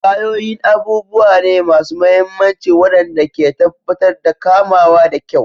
Tayoyin abubuwa ne masu mahimmanci waɗanda ke tabbatar da kamawa da kyau.